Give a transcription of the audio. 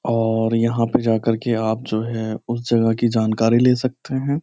और यहां पर जाकर के आप जो है उस जगह की जानकारी ले सकते हैं।